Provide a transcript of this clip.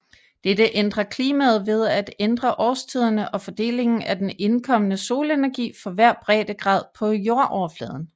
Dette ændrer klimaet ved at ændre årstiderne og fordelingen af den indkommende solenergi for hver breddegrad på jordoverfladen